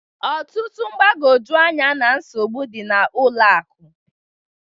Ọtụtụ mgbagwoju anya na nsogbu dị n'ụlọ akụ